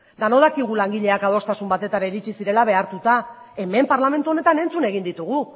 denok dakigu adostasun batera iritsi zirela behartuta hemen parlamentu honetan entzun egin ditugu